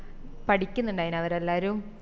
പഠിക്കുന്നുണ്ടായിന് അവരെല്ലാരും